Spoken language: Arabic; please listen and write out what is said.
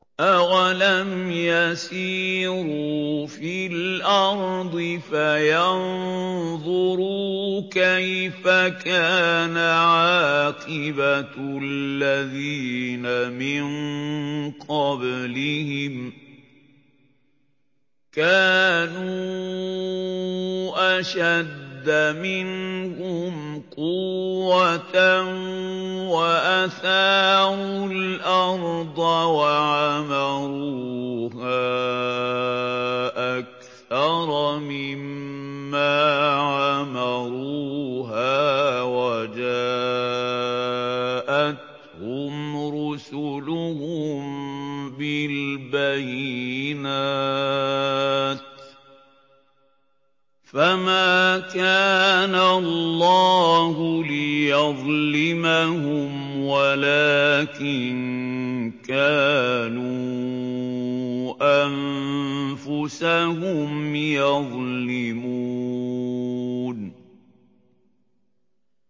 أَوَلَمْ يَسِيرُوا فِي الْأَرْضِ فَيَنظُرُوا كَيْفَ كَانَ عَاقِبَةُ الَّذِينَ مِن قَبْلِهِمْ ۚ كَانُوا أَشَدَّ مِنْهُمْ قُوَّةً وَأَثَارُوا الْأَرْضَ وَعَمَرُوهَا أَكْثَرَ مِمَّا عَمَرُوهَا وَجَاءَتْهُمْ رُسُلُهُم بِالْبَيِّنَاتِ ۖ فَمَا كَانَ اللَّهُ لِيَظْلِمَهُمْ وَلَٰكِن كَانُوا أَنفُسَهُمْ يَظْلِمُونَ